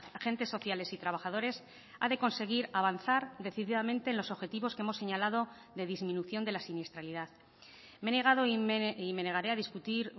agentes sociales y trabajadores ha de conseguir avanzar decididamente en los objetivos que hemos señalado de disminución de la siniestralidad me he negado y me negaré a discutir